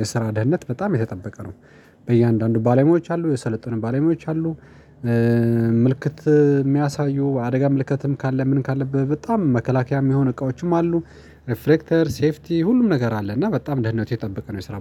የስራ ደህንነት በጣም የተጠበቀ ነው። እያንዳንዱ ባለሙያዎች አሉ የሰለጡን ባለሙያዎች አሉ። ምልክት የሚያሳዩ አደጋ ምልክትም ካለ ምን ካለብህ? በጣም መከላከያም የሆኑ እቃዎችም አሉ። ሪፍሌክተር ሴፍቲ ሁሉም ነገር አለ እና በጣም ደህንነት የጠበቀ ነው የስራው